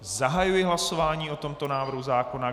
Zahajuji hlasování o tomto návrhu zákona.